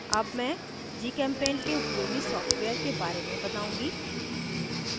अब मैं gchempaint के उपयोगी सॉफ्टवेयर के बारे में बताउंगी